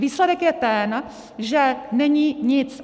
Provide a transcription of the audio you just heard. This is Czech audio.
Výsledek je ten, že není nic!